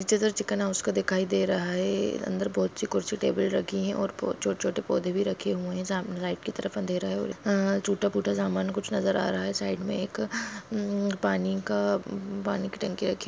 और कुछ टूट फूट सामान अ नजर आ रहा है साइड मे एक अ मम पनि का टंकी भी साइक |--